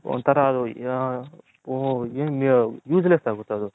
ಒಂತರ ಅದು Use less ಆಗುತೆ ಅದು.